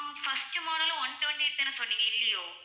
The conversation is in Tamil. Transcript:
ஆஹ் first model உம் one twenty-eight தான சொன்னிங்க இல்லயோ?